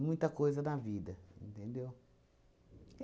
Muita coisa da vida, entendeu?